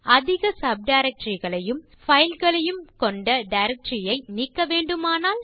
அதிக சப்டைரக்டரி களையும் பைல் களையும் கொண்ட டைரக்டரி ஐ நீக்க வேண்டுமானால்